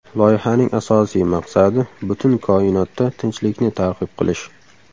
Loyihaning asosiy maqsadi butun koinotda tinchlikni targ‘ib qilish.